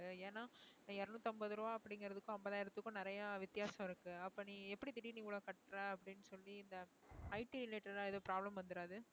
ஏன்னா இருநூற்று ஐம்பது ரூபாய் அப்படிங்கிறதுக்கும் ஐம்பதாயிரத்துக்கும் நிறைய வித்தியாசம் இருக்கு அப்ப நீ எப்படி திடீர்ன்னு இவ்வளவு கட்டுர அப்படின்னு சொல்லி இந்த IT related ஆ ஏதும் problem வந்துடாது